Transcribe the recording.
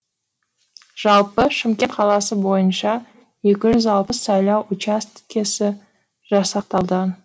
жалпы шымкент қаласы бойынша екі жүз алпыс сайлау учаскесі жасақталды